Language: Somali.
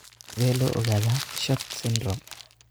Sidee loo ogaadaa SHORT syndrome?